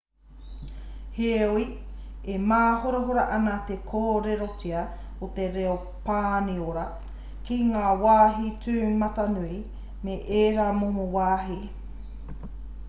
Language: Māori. heoi e māhorahora ana te kōrerotia o te reo pāniora ki ngā wāhi tūmatanui me ērā momo wāhi